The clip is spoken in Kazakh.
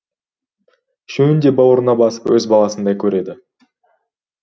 үшеуін де бауырына басып өз баласындай көреді